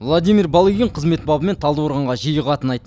владимир балыгин қызмет бабымен талдықорғанға жиі қатынайды